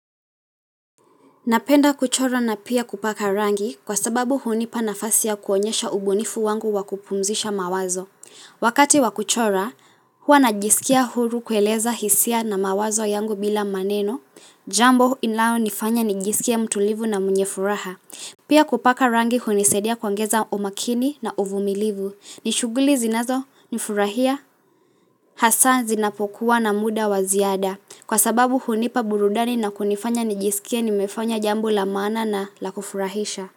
Napenda kuchora na pia kupaka rangi kwa sababu hunipa nafasi ya kuonyesha ubunifu wangu wa kupumzisha mawazo. Wakati wa kuchora, huwa ninajisikia huru kueleza hisia na mawazo yangu bila maneno. Jambo inayonifanya nijisikie mtulivu na mwenye furaha. Pia kupaka rangi hunisadia kuongeza umakini na uvumilivu. Ni shuguli zinazo nifurahia, haswa zinapokuwa na muda wa ziada. Kwa sababu hunipa burudani na kunifanya nijisikie nimefanya jambo la maana na la kufurahisha.